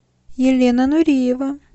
елена нуриева